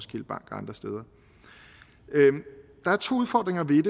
andre steder der er to udfordringer ved